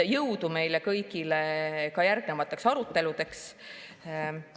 Jõudu meile kõigile ka järgnevateks aruteludeks!